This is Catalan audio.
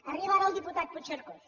arriba ara el diputat puigcercós